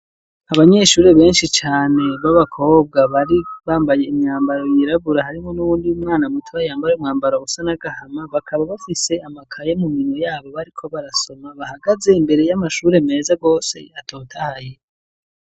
Abanyeshuri benshi cane babakobwa bari bambaye imyambaro yirabura harimwo n'uwundi 'umwana muto bayambaye umwambaro usa nagahama bakaba bafise amakaye mu minwe yabo bariko barasoma bahagaze imbere y'amashuri meza gose atotahaye.